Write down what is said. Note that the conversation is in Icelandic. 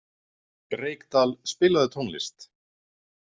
Reykdal, spilaðu tónlist.